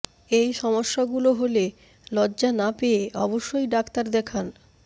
এই সমস্যাগুলো হলে লজ্জা না পেয়ে অবশ্যই ডাক্তার দেখান